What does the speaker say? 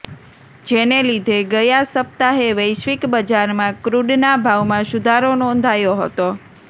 જેને લીધે ગયા સપ્તાહે વૈશ્વિક બજારમાં ક્રૂડના ભાવમાં સુધારો નોંધાયો હતો